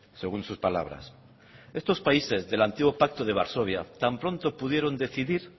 según sus palabras estos países del antiguo pacto de varsovia tan pronto pudieron decidir